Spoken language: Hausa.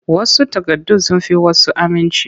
Wash takardun sun fi wasu aminci.